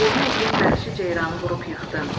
Boynu uzun vəhşi ceyranı vurub yıxdın.